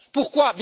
Pourquoi?